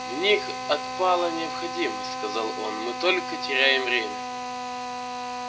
в них отпала необходимость сказал он мы только теряем время